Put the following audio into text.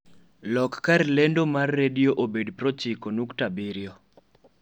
lok kar lendomar redio obed pro chiko nukta abirio